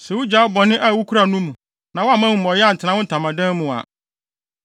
sɛ wugyaa bɔne a wukura no mu na woamma amumɔyɛ antena wo ntamadan mu a